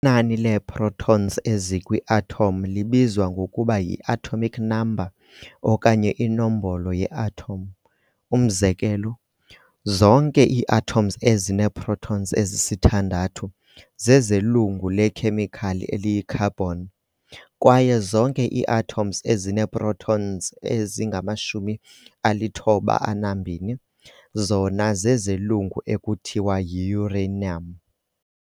Inani lee-protons ezikwi-atom libizwa ngokuba yi-atomic number okanye yinombolo ye-atom, umzekelo, zonke ii-atoms ezinee-protons ezi-6 zezelungu lekhemikhali eliyi-carbon, kwaye zonke ii-atoms ezinee-protons ezingama-92 zona zezelungu ekuthiwa yi-uranium.